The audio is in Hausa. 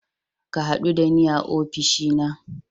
Ka hadu da ni a ofishina.